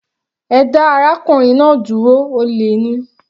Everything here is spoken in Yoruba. Ẹ dá arákùnrin náà dúró, olè ni.